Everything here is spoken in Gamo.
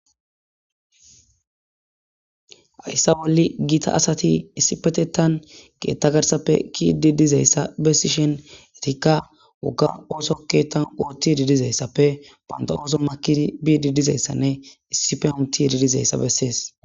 hayssa bolli giita asati issi petettan ge7etta garsappe kiidi dizeyssa bessishen etikka wogga ooso keettan oottidi dizayssappe banda ooso makidi biidi dizeyssanne issi fe autidi dizeyssa bessees